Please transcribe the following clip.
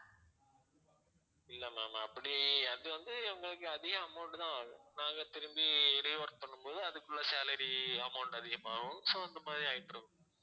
இல்ல ma'am அப்படி அது வந்து உங்களுக்கு அதிக amount தான் ஆகும் நாங்க திரும்பி rework பண்ணும்போது அதுக்குள்ள salary amount அதிகமாகும் so அந்த மாதிரி ஆயிட்டிருக்கும்